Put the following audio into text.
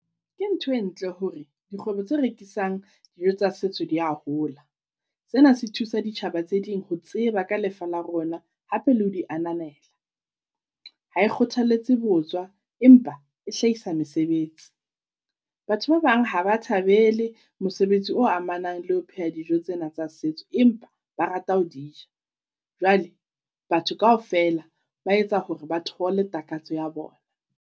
Ke ntho e ntle hore dikgwebo tse rekisang dijo tsa setso di a hola. Sena se thusa ditjhaba tse ding ho tseba ka lefa la rona hape le ho di ananela. Ha e kgothaletse botswa empa e hlahisa mesebetsi. Batho ba bang ha ba thabele mosebetsi o amanang le ho pheha dijo tsena tsa setso, empa ba rata ho di ja. Jwale batho kaofela ba etsa hore ba thole takatso ya bona.